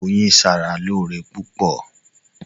Oyin ṣara lóore púpọ̀.